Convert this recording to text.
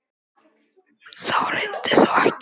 Á þetta reyndi þó ekki.